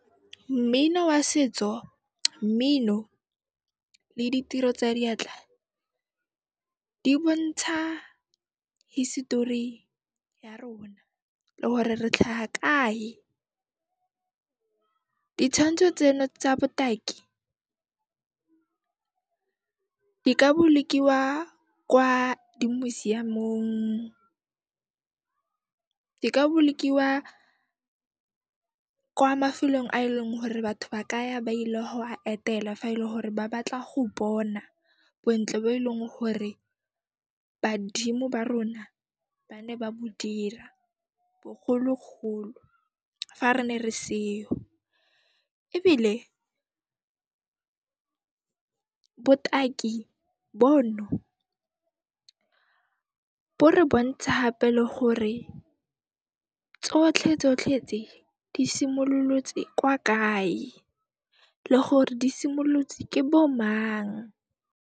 Mmino wa setso, mmino le ditiro tsa diatla di bontsha hisitori ya rona le hore re tlhaha kae. Ditshwantsho tseno tsa botaki di ka bolokiwa kwa di museum-ong, di ka bolokiwa kwa mafelong a eleng hore batho ba ka ya ba ile ho a etela fa e le hore ba batla go bona bontle bo e leng hore badimo ba rona ba ne ba bo dira bogologolo fa re ne re seo. Ebile botaki bono, bo re bontsha hape le gore tsotlhe tsotlhe tse, di simollotse kwa kae le gore di simollotse ke bo mang.